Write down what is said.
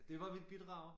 Det var mit bidrag